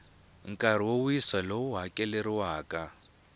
nkarhi wo wisa lowu hakeleriwaka